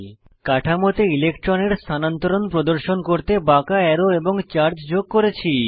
কাঠামোতে ইলেক্ট্রনের স্থানান্তরণ প্রদর্শন করতে বাঁকা অ্যারো এবং চার্জ যোগ করেছি